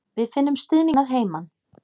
Við finnum stuðninginn að heiman.